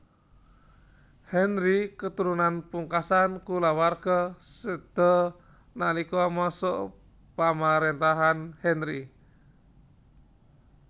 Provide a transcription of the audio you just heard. Henry keturunan pungkasan kulawarga séda nalika masa pamaréntahan Henry